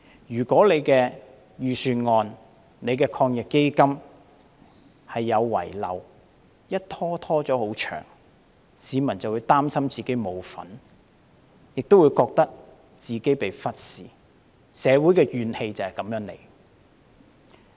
如果他的預算案和抗疫基金有遺漏而問題拖延太久，市民便會擔心自己沒有份，亦會覺得自己被忽視，社會的怨氣便由此而生。